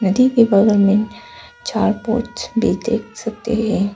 नदी के बगल में चार बोट्स भी देख सकते हैं।